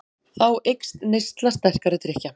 Þá eykst neysla sterkari drykkja.